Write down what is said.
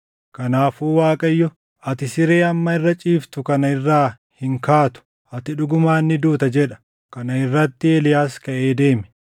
Kanaafuu Waaqayyo, ‘Ati siree amma irra ciiftu kana irraa hin kaatu. Ati dhugumaan ni duuta!’ jedha.” Kana irratti Eeliyaas kaʼee deeme.